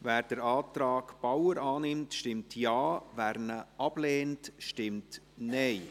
Wer den Antrag Bauer annimmt, stimmt Ja, wer diesen ablehnt, stimmt Nein.